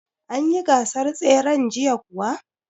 An yi gasar tseren jiya kuwa?